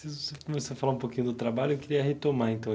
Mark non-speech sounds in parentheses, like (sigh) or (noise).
(unintelligible) você você falar um pouquinho do trabalho, eu queria retomar então.